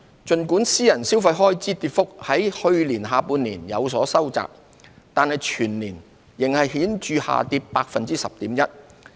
儘管私人消費開支跌幅在去年下半年有所收窄，但全年仍顯著下跌 10.1%。